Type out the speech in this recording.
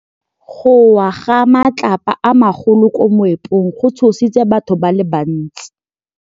Go wa ga matlapa a magolo ko moepong go tshositse batho ba le bantsi.